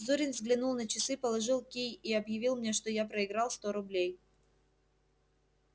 зурин взглянул на часы положил кий и объявил мне что я проиграл сто рублей